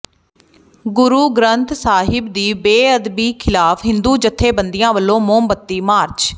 ਗੁਰੂ ਗ੍ਰੰਥ ਸਾਹਿਬ ਦੀ ਬੇਅਦਬੀ ਖ਼ਿਲਾਫ਼ ਹਿੰਦੂ ਜਥੇਬੰਦੀਆਂ ਵੱਲੋਂ ਮੋਮਬੱਤੀ ਮਾਰਚ